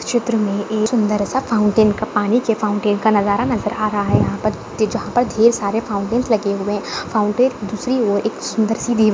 चित्र मे एक सुंदर सा फाउंटेन का पानी के फाउंटेन का नजारा नजर आ रहा है यहाँ-जहा पर ढेर सारे फॉउन्टेंस लगे हुए है फाउंटेन दूसरी और एक सुंदर सी --